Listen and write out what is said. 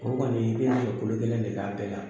O kɔni i bɛ nɛgɛ kolo gɛlɛn de k'a bɛɛ la.